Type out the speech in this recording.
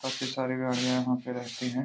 काफी सारे ग्राहक यहाँ पे रहते हैं।